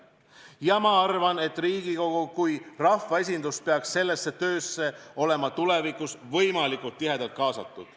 Ja ma arvan, et Riigikogu kui rahvaesindus peaks sellesse töösse olema tulevikus võimalikult tihedalt kaasatud.